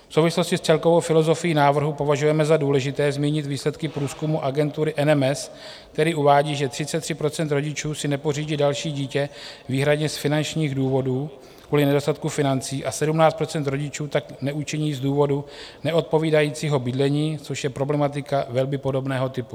V souvislosti s celkovou filozofií návrhu považujeme za důležité zmínit výsledky průzkumu agentury MMS, který uvádí, že 33 % rodičů si nepořídí další dítě výhradně z finančních důvodů, kvůli nedostatku financí, a 17 % rodičů tak neučiní z důvodu neodpovídajícího bydlení, což je problematika velmi podobného typu.